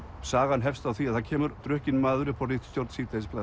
sagan hefst á því að það kemur drukkinn maður upp á ritstjórn